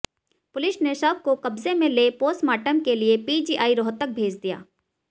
police ने शव को कब्जे में ले पोस्टमार्टम के लिए पीजीआई रोहतक भेज दिया